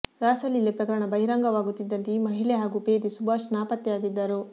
ರಾಸಲೀಲೆ ಪ್ರಕರಣ ಬಹಿರಂಗವಾಗುತ್ತಿದ್ದಂತೆ ಈ ಮಹಿಳೆ ಹಾಗೂ ಪೇದೆ ಸುಭಾಷ್ ನಾಪತ್ತೆಯಾಗಿದ್ದರು